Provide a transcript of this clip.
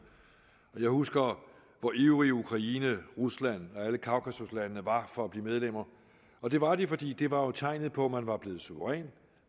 og jeg husker hvor ivrige ukraine rusland og alle kaukasuslandene var for at blive medlemmer og det var de fordi det jo var tegnet på at man var blevet suveræn